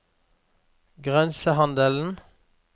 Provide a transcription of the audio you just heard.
grensehandelen